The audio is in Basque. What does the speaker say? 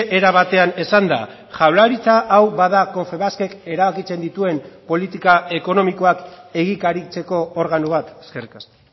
era batean esanda jaurlaritza hau bada confebaskek erabakitzen dituen politika ekonomikoak egikaritzeko organo bat eskerrik asko